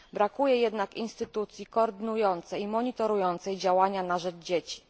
Brakuje jednak instytucji koordynującej i monitorującej działania na rzecz dzieci.